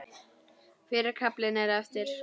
Fyrri kaflinn er eftir